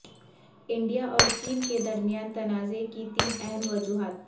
India اور چین کے درمیان تنازعے کی تین اہم وجوہات